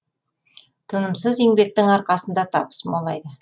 тынымсыз еңбектің арқасында табыс молайды